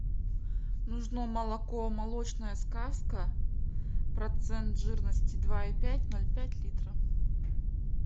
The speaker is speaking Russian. нужно молоко молочная сказка процент жирности два и пять ноль пять литра